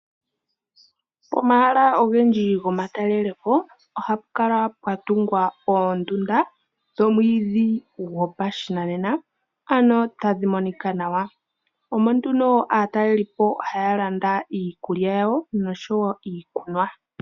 Pomahala ogendji gomatalele po ohapu kala pwa tungwa oondunda dhoomwiidhi gopashinanena tadhi monika nawa, omo nduno aataleli po ohaya landa iikulya yawo noshowo iikunwa.